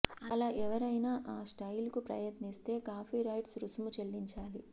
అలా ఎవరైనా ఆ స్టైల్కు ప్రయత్నిస్తే కాపీరైట్స్ రుసుము చెల్లించాలి